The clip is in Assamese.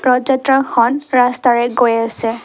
ৰথ যাত্ৰা খন ৰাস্তাৰে গৈ আছে।